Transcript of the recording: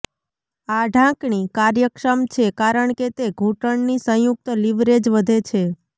આ ઢાંકણી કાર્યક્ષમ છે કારણ કે તે ઘૂંટણની સંયુક્ત લીવરેજ વધે છે